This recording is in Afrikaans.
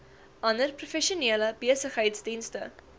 ander professionele besigheidsdienste